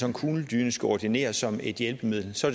en kugledyne skal ordineres som et hjælpemiddel så